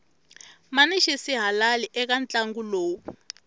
mani xisihalali eka ntlangu lowu